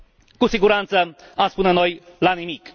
Cu siguranță, am spune noi, la nimic.